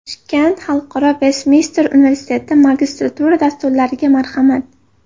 Toshkent Xalqaro Vestminster universiteti Magistratura dasturlariga marhamat!.